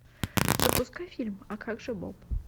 запускай фильм а как же боб